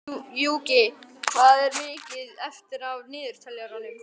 Gjúki, hvað er mikið eftir af niðurteljaranum?